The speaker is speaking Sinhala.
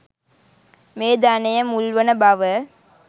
මේ ධනය මුල් වන බව